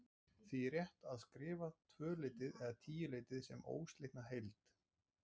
Því er rétt að skrifa tvöleytið eða tíuleytið sem óslitna heild.